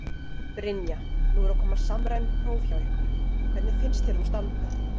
Brynja: Nú eru að koma samræmd próf hjá ykkur, hvernig finnst þér þú standa?